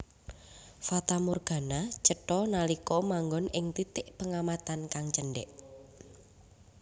Fatamorgana cetha nalika manggon ing titik pengamatan kang cendhèk